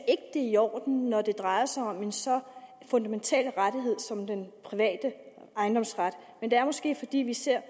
er i orden når det drejer sig om en så fundamental rettighed som den private ejendomsret men det er måske fordi vi ser